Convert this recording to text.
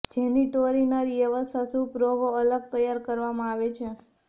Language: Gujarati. જેની ટૌરીનરી વ્યવસ્થા સૂપ રોગો અલગ તૈયાર કરવામાં આવે છે